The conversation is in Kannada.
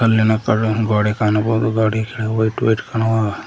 ಇಲ್ಲಿನ ಕಲ್ಲಿನ ಗೋಡೆ ಕಾಣಬಹುದು ಗೋಡಿ ಕೆಳಗ್ ವೈಟ್ ವೈಟ್ ಕಾಣವ --